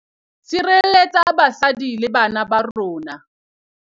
Sirelletsa basadi le bana ba rona